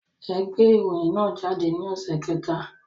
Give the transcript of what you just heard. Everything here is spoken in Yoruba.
Ẹ gbé ìròyìn náà jáde ní ọ̀sẹ̀ kẹta